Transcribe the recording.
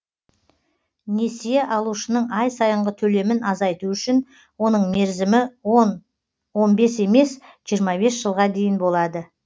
несие алушының ай сайынғы төлемін азайту үшін оның мерзімі он он бес емес жиырма бесінші жылға дейін болады